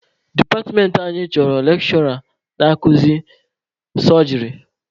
Departmentị anyị chọrọ lekshụra na-akuzi sọjịrị.